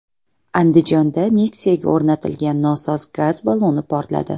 Andijonda Nexia’ga o‘rnatilgan nosoz gaz balloni portladi .